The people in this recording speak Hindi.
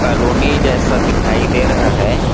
कॉलोनी जैसा दिखाई दे रहा हैं।